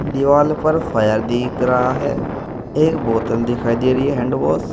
दीवाल पर दिख रहा है एक बोतल दिखाई दे रही है हैंडवाश --